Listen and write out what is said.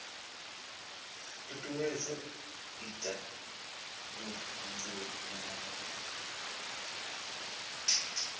tutuwedza u ita vhubindudzi navho